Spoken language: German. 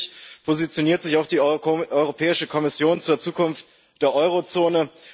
Und endlich positioniert sich auch die Europäische Kommission zur Zukunft der Euro Zone.